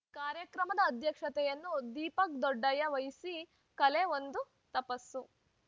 ಕಾರ್ಯಕ್ರಮದ ಅಧ್ಯಕ್ಷತೆಯನ್ನು ದೀಪಕ್‌ ದೊಡ್ಡಯ್ಯ ವಹಿಸಿ ಕಲೆ ಒಂದು ತಪಸ್ಸು